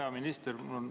Hea minister!